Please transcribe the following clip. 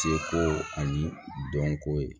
Seko ani dɔnko ye